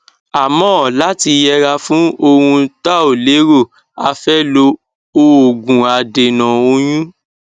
àmọ láti yẹra fún ohun tá ò lérò a fẹ lo òògùadènà oyún